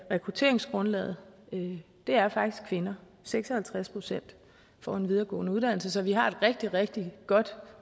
rekrutteringsgrundlaget er faktisk kvinder seks og halvtreds procent får en videregående uddannelse så vi har et rigtig rigtig godt